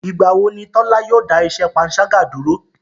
Ìgbà wo ni Tọ́la yóò dá iṣẹ́ panṣágà dúró?